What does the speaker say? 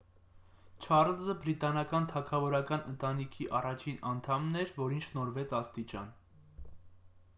չառլզը բրիտանական թագավորական ընտանիքի առաջին անդամն էր որին շնորհվեց աստիճան